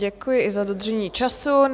Děkuji i za dodržení času.